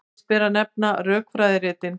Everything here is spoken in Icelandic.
Fyrst ber að nefna rökfræðiritin.